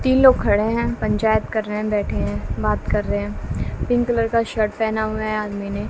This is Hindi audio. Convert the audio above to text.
तीन लोग खड़े हैं पंचायत कर रहे बैठे हैं बात कर रहे हैं पिंक कलर का शर्ट पेहना हुआ है आदमी ने।